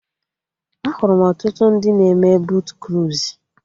Ahụrụ m ọtụtụ ndị na-eme botu kruizu